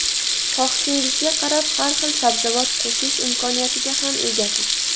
Xohishingizga qarab har xil sabzavot qo‘shish imkoniyatiga ham egasiz.